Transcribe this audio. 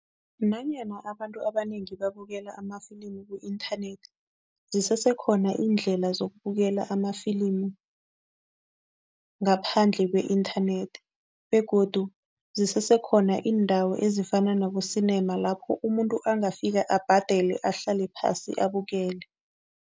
Nanyana abantu abanengi babukela amafilimu ku-inthanethi, zisesekhona iindlela zokubukela amafilimu ngaphandle kwe-inthanethi begodu zisesekhona indawo ezifana nabo-cinema lapho umuntu angafika abhadele, ahlale phasi, abukele.